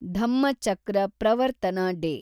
Dhammachakra Pravartana day